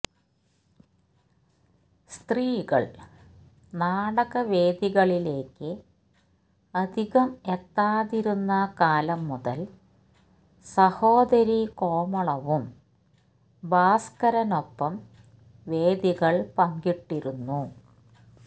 സ്ത്രീകൾ നാടകവേദികളിലേയ്ക്ക് അധികം എത്താതിരുന്ന കാലം മുതൽ സഹോദാരി കോമളവും ഭാസ്കരനൊപ്പം ഒപ്പം വേദികൾ പങ്കിട്ടിരുന്നു